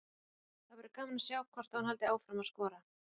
Það verður gaman að sjá hvort að hún haldi áfram að skora.